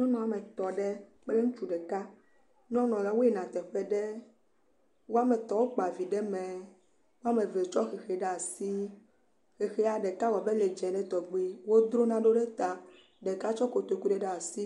Nyɔnu ametɔ̃ ɖe kple ŋutsu ɖeka. Nyɔnuala, woyina teƒe ɖe wo ame etɔ̃ wokpa vi ɖe mɛ. Wo ame eve tsɔ xexi ɖe asi. Xexia ɖeka wɔ abe ele dzẽ ɖe tɔgbi. Wodzro nanewo ɖe ta. Ɖeka tsɔ kotoku ɖe ɖe asi.